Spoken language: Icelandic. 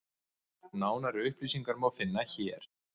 Nánari upplýsingar má finna hér.